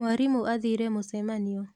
mwarimũ athire mũcemanio.